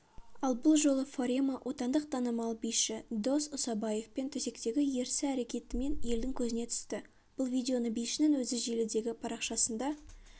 ал бұл жолы фарема отандық танымал биші дос ұсабаевпен төсектегі ерсі әрекетімен елдің көзіне түсті бұл видеоны бишінің өзі желідегі парақшасында